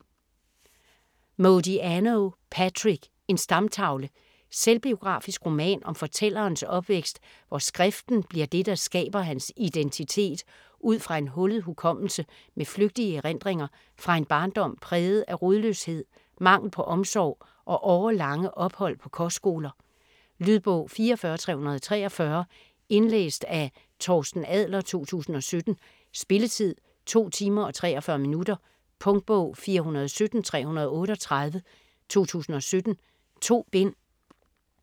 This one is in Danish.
Modiano, Patrick: En stamtavle Selvbiografisk roman om fortællerens opvækst, hvor skriften bliver det, der skaber hans identitet ud fra en hullet hukommelse med flygtige erindringer fra en barndom præget af rodløshed, mangel på omsorg og årelange ophold på kostskoler. Lydbog 44343 Indlæst af Torsten Adler, 2017. Spilletid: 2 timer, 43 minutter. Punktbog 417338 2017. 2 bind.